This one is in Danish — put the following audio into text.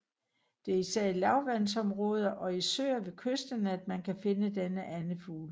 Det er især i lavvandsområder og i søer ved kysterne at man kan finde denne andefugl